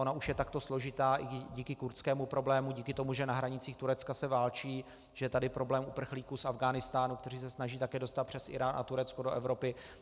Ona už je takto složitá i díky kurdskému problému, díky tomu, že na hranicích Turecka se válčí, že je tady problém uprchlíků z Afghánistánu, kteří se snaží také dostat přes Irák a Turecko do Evropy.